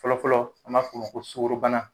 Fɔlɔfɔlɔ an b'a f'o ma sukɔrobana